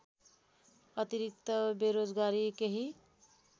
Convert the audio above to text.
अतिरिक्त बेरोजगारी केही